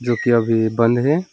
जो कि अभी बंद है।